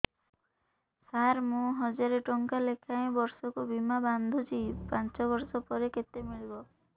ସାର ମୁଁ ହଜାରେ ଟଂକା ଲେଖାଏଁ ବର୍ଷକୁ ବୀମା ବାଂଧୁଛି ପାଞ୍ଚ ବର୍ଷ ପରେ କେତେ ମିଳିବ